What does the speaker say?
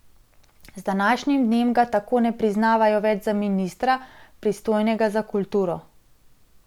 Z današnjim dnem ga tako ne priznavajo več za ministra, pristojnega za kulturo.